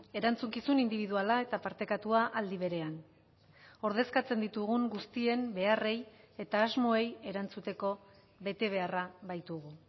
erantzukizun indibiduala eta partekatua aldi berean ordezkatzen ditugun guztien beharrei eta asmoei erantzuteko betebeharra baitugu